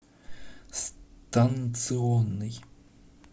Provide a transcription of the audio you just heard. станционный